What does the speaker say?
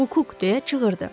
Akuk deyə çığırdı.